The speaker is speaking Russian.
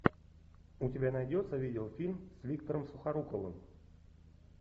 у тебя найдется видеофильм с виктором сухоруковым